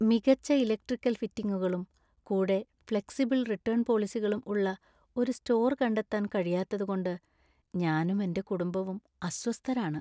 മികച്ച ഇലക്ട്രിക്കൽ ഫിറ്റിംഗുകളും കൂടെ ഫ്ലെക്സിബിൾ റിട്ടേൺ പോളിസികളും ഉള്ള ഒരു സ്റ്റോർ കണ്ടെത്താൻ കഴിയാത്തതുകൊണ്ട് ഞാനും എന്‍റെ കുടുംബവും അസ്വസ്ഥരാണ്.